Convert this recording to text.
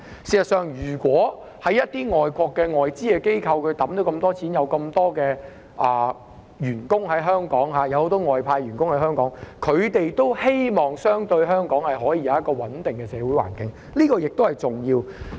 事實上，如果一些外資機構在香港投放大量資金，並有很多外派員工在港，他們也希望香港可以有一個相對穩定的社會環境，這也是重要的。